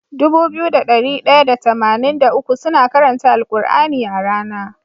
Dubu biyu da dari daya da tamanin da uku suna karanta al kur'ani a rAna